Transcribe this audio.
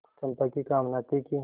चंपा की कामना थी कि